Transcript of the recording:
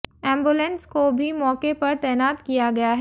ambulance को भी मौके पर तैनात किया गया है